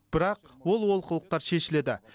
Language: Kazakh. бірақ ол олқылықтар шешіледі